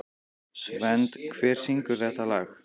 Svend, hver syngur þetta lag?